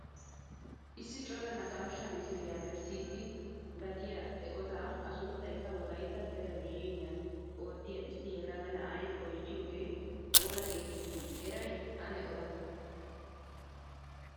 Issi cora naqaashshaa misiliyaa bessiidi gattiyaa eqotaa a sunttaykka wolaytta telebizhiniyaa oottiyaa issi yelaga na'ay oychchiyoogee oona getettii eray ane oda?